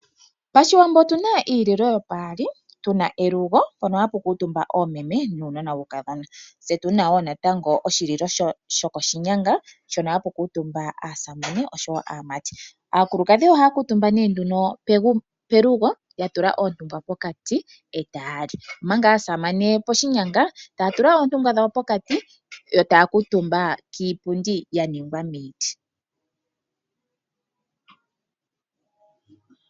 Pashiwambo otuna iililo yopaali, tuna elugo mpono hapu kuutumba oomeme nuunona wuukadhona tse tuna wo natango oshililo shokoshinyanga hono haku kala ootate naanona yaamati. Aakulukadhi ohaya kuutumba nduno pelugo ya tula oontungwa pokati etaya li, omanga aasamane piinyanga taya tula oontungwa dhawo pokati etaya kuutumba kiipundi ya ningwa miiti.